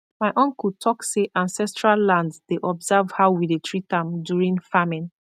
my uncle talk say ancestral land dey observe how we dey treat am during farming